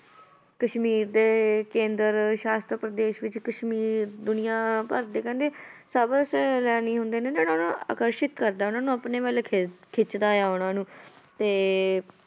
ਕਸ਼ਮੀਰ ਦੇ ਕੇਂਦਰ ਸ਼ਾਸਤ ਪ੍ਰਦੇਸ ਵਿੱਚ ਕਸ਼ਮੀਰ ਦੁਨੀਆ ਭਰ ਦੇ ਕਹਿੰਦੇ ਸਭ ਸੈਲਾਨੀ ਹੁੰਦੇ ਨੇ ਨਾ ਉਹਨਾਂ ਨੂੰ ਆਕਰਸ਼ਿਤ ਕਰਦਾ ਉਹਨਾਂ ਨੂੰ ਆਪਣੇ ਵੱਲ ਖਿੱਚ~ ਖਿੱਚਦਾ ਆ ਉਹਨਾਂ ਨੂੰ ਤੇ